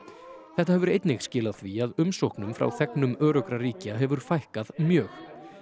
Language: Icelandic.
þetta hefur einnig skilað því að umsóknum frá þegnum öruggra ríkja hefur fækkað mjög